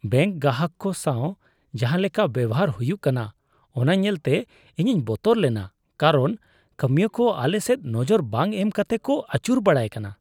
Bank ᱜᱟᱦᱟᱠ ᱠᱚ ᱥᱟᱶ ᱡᱟᱦᱟᱸ ᱞᱮᱠᱟ ᱵᱮᱣᱦᱟᱨ ᱦᱩᱭᱩᱜ ᱠᱟᱱᱟ ᱚᱱᱟ ᱧᱮᱞᱛᱮ ᱤᱧᱤᱧ ᱵᱚᱛᱚᱨ ᱞᱮᱱᱟ ᱠᱟᱨᱚᱱ ᱠᱟᱹᱢᱤᱭᱟᱹ ᱠᱚ ᱟᱞᱮ ᱥᱮᱫ ᱱᱚᱡᱚᱨ ᱵᱟᱝ ᱮᱢ ᱠᱟᱛᱮ ᱠᱚ ᱟᱹᱪᱩᱨ ᱵᱟᱲᱟᱭ ᱠᱟᱱᱟ ᱾